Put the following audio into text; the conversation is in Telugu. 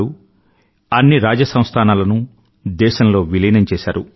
మొదలైన అన్ని రాజ సంస్థానాలనూ దేశంలో విలీనం చేశారు